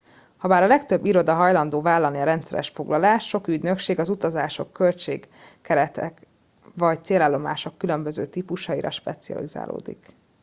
habár a legtöbb iroda hajlandó vállalni a rendszeres foglalást sok ügynökség az utazások költség keretek vagy célállomások különböző típusaira specializálódik